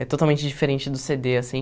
É totalmente diferente do cê dê assim.